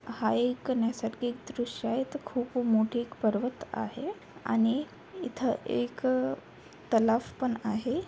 हा एक नैसर्गिक दृष्य आहे इथं एक खूप मोठे पर्वत आहे आणि इथं एक तलाव पण आहे.